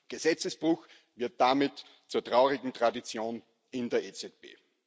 Gesetzesbruch wird damit zur traurigen Tradition in der EZB.